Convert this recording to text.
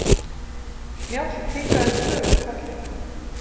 Njáll kinkaði þögull kolli.